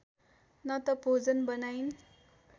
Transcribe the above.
न त भोजन बनाइन्